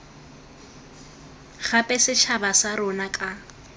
gape setšhaba sa rona ka